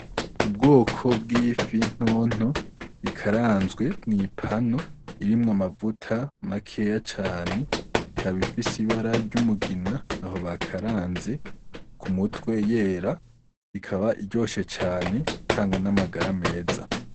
Ubwoko bw'ifi ntonto ikaranzwe mwi pano irimwo amavuta makeya cane, ikaba ifise ibara ry'umugina aho bakaranze, ku mutwe yera, ikaba iryoshe cane itanga n'amagara meza.